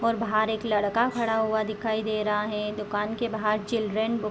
और बाहर एक लड़का खड़ा हुआ दिखाई दे रहा है दुकान के बाहर चिल्ड्रन बुक्स --